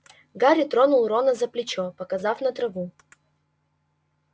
гарри тронул рона за плечо показав на траву